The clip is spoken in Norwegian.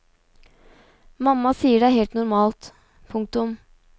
Mamma sier det er helt normalt. punktum